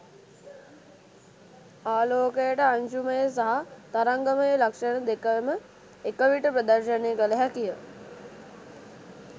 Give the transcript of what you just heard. ආලෝකයට අංශුමය සහ තරංගමය ලක්ෂණ දෙකම එකවිට ප්‍රදර්ශනය කළ හැකිය.